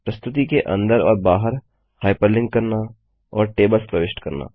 प्रस्तुति के अंदर और बाहर हाइपरलिंक करना और टेबल्स प्रविष्ट करना